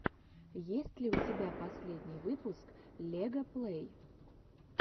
есть ли у тебя последний выпуск лега плэй